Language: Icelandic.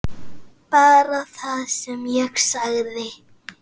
Bara það sem ég sagði.